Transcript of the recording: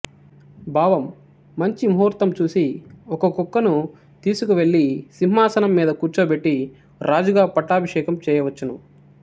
భావం మంచి ముహూర్తం చూసి ఒక కుక్కను తీసుకొని వెళ్లి సింహాసనం మీద కూర్చోబెట్టి రాజుగా పట్టాభిషేకం చేయవచ్చును